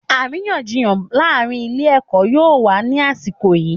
Àríyànjiyàn láàárín ilé-ẹ̀kọ́ yóò wà ní àsìkò yìí.